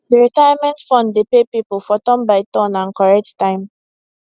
d retirement fund dey pay people for turn by turn and correct time